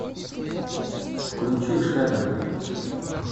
включи шена